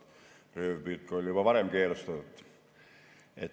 Röövpüük oli juba varem keelustatud.